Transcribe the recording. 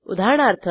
उदाहरणार्थ